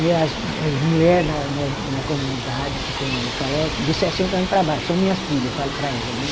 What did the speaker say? E as as mulher na na na comunidade que tem, eu falo, ó de sessenta ano para baixo, são minhas filhas, eu falo para elas, né?